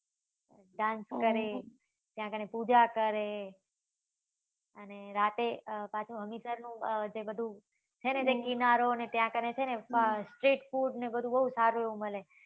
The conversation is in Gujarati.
dance કરે ત્યાં કને પૂજા કરે અને રાતે અ પાછુ હમીસર નું અ જે બધું છે ને કિનારો ને ત્યાં કને છે ને street food ને બધું બઉ સારું એવું મળે.